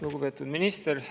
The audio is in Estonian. Lugupeetud minister!